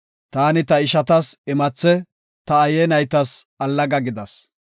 Taani ta ishatas imathe, ta aaye naytas allaga gidas.